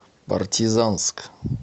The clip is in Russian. партизанск